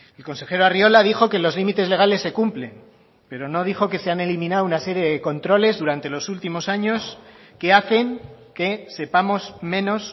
el consejero arriola dijo que los límites legales se cumplen pero no dijo que se han eliminado una serie de controles durante los últimos años que hacen que sepamos menos